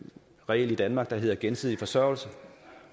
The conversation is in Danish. regel i danmark der hedder gensidig forsørgelse